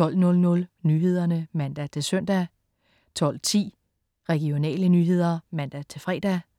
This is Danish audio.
12.00 Nyhederne (man-søn) 12.10 Regionale nyheder (man-fre)